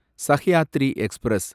Sahyadri express